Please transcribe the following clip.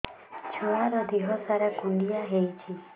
ଛୁଆର୍ ଦିହ ସାରା କୁଣ୍ଡିଆ ହେଇଚି